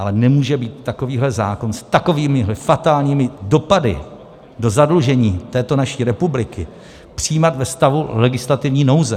Ale nemůže být takovýhle zákon s takovými fatálními dopady do zadlužení této naší republiky přijímán ve stavu legislativní nouze.